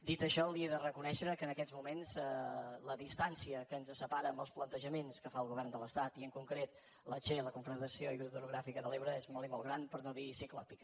dit això li he de reconèixer que en aquests moments la distància que ens separa amb els plantejaments que fa el govern de l’estat i en concret la che la confederació hidrogràfica de l’ebre és molt i molt gran per no dir ciclòpia